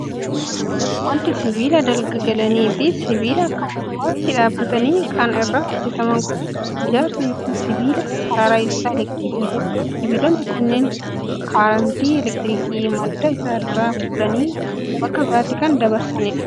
Wanti sibiila dalga galanii fi sibiila akka utubaatti dhaabbate kana irraa hojjatame kun, ijaarsa yokin sibiila sarara ibsaa elektirikiiti. Sibiilonni kunneen karantii elektirikaa madda isaa irraa fuudhanii bakka biraatti kan dabarsanii fi faayidaa elektirikni kennu kan kennanii dha.